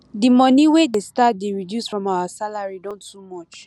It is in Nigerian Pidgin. the money wey dey start dey reduce from our salary don too much